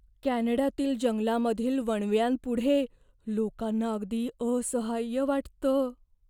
कॅनडातील जंगलामधील वणव्यांपुढे लोकांना अगदी असहाय्य वाटतं.